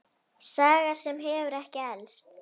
Saga sem hefur ekki elst.